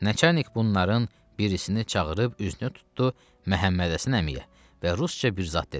Nəçərnik bunların birisini çağırıb üzünü tuttu Məhəmmədhəsən əmiyə və rusca bir zad dedi.